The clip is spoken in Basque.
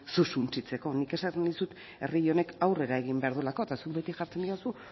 zu suntsitzeko nik esaten dizut herri honek aurrera egin behar duelako eta zuk beti jartzen didazu